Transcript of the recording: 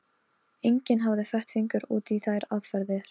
Stanley, hvað er mikið eftir af niðurteljaranum?